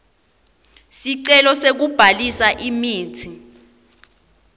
sicelo sekubhalisa imitsi